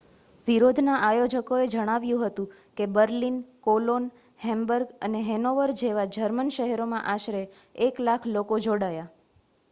વિરોધના આયોજકોએ જણાવ્યું હતું કે બર્લિન કોલોન હેમ્બર્ગ અને હેનોવર જેવા જર્મન શહેરોમાં આશરે 100,000 લોકો જોડાયા